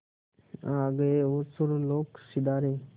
आ गए और सुरलोक सिधारे